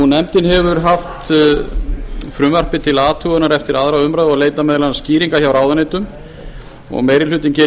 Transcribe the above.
nefndin hefur haft frumvarpið til athugunar eftir aðra umræðu og leitað meðal annars skýringa hjá ráðuneytum meiri hlutinn gerir